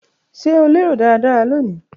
Ṣe o lero daradara loni?.